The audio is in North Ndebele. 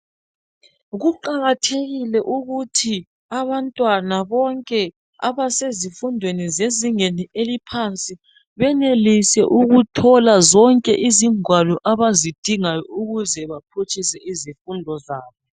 Kuqakathekile ukuthi abantwana bonke abasezifundweni zezingeni eliphansi benelise ukuthola zonke izingwalo zonke abazidingayo ukuze baphutshise izifundo zabo